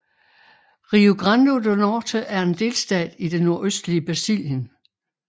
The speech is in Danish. Rio Grande do Norte er en delstat i det nordøstlige Brasilien